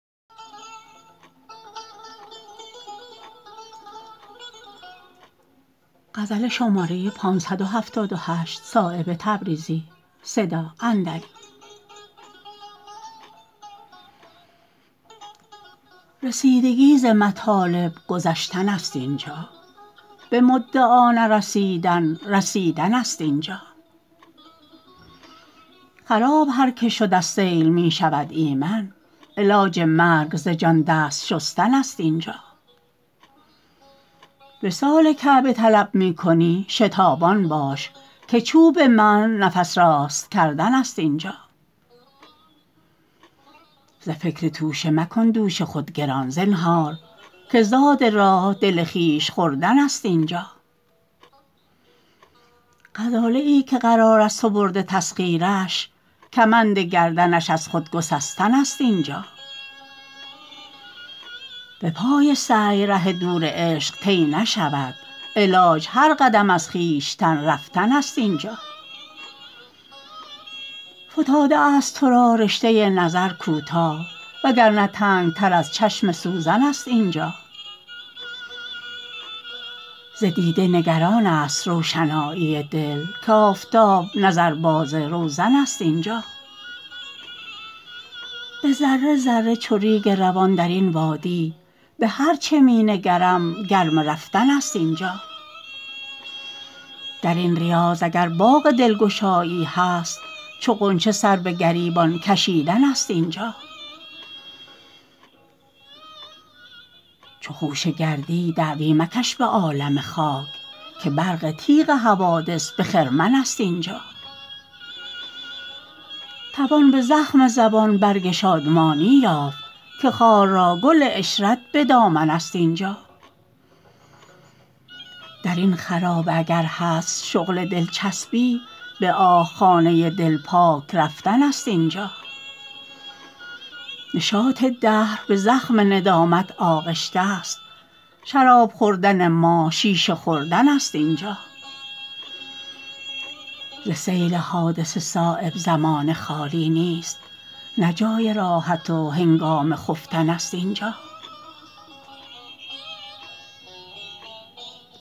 رسیدگی ز مطالب گذشتن است اینجا به مدعا نرسیدن رسیدن است اینجا خراب هر که شد از سیل می شود ایمن علاج مرگ ز جان دست شستن است اینجا وصال کعبه طلب می کنی شتابان باش که چوب منع نفس راست کردن است اینجا ز فکر توشه مکن دوش خود گران زنهار که زاد راه دل خویش خوردن است اینجا غزاله ای که قرار از تو برده تسخیرش کمند گردنش از خود گسستن است اینجا به پای سعی ره دور عشق طی نشود علاج هر قدم از خویش رفتن است اینجا فتاده است ترا رشته نظر کوتاه وگرنه تنگتر از چشم سوزن است اینجا ز دیده نگران است روشنایی دل که آفتاب نظر باز روزن است اینجا به ذره ذره چو ریگ روان درین وادی به هر چه می نگرم گرم رفتن است اینجا درین ریاض اگر باغ دلگشایی هست چو غنچه سر به گریبان کشیدن است اینجا چو خوشه گردی دعوی مکش به عالم خاک که برق تیغ حوادث به خرمن است اینجا توان به زخم زبان برگ شادمانی یافت که خار را گل عشرت به دامن است اینجا درین خرابه اگر هست شغل دلچسبی به آه خانه دل پاک رفتن است اینجا نشاط دهر به زخم ندامت آغشته است شراب خوردن ما شیشه خوردن است اینجا ز سیل حادثه صایب زمانه خالی نیست نه جای راحت و هنگام خفتن است اینجا